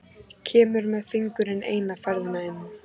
Kemur með fingurinn eina ferðina enn.